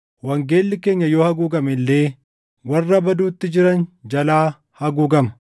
Wangeelli keenya yoo haguugame illee warra baduutti jiran jalaa haguugama;